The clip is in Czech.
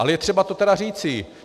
Ale je třeba to teda říci.